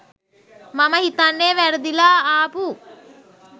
මම හිතන්නේ වැරදිලා ආපු